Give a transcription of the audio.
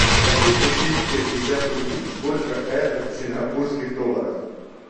хочу купить пятьдесят рупий сколько это в сингапурских долларах